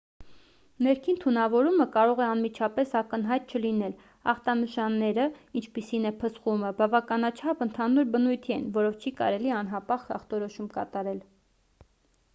ներքին թունավորումը կարող է անմիջապես ակնհայտ չլինել ախտանշանները ինչպիսին է փսխումը բավականաչափ ընդհանուր բնույթի են որով չի կարելի անհապաղ ախտորոշում կատարել